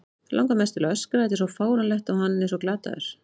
Langar mest til að öskra, þetta er svo fáránlegt og hann svo glataður.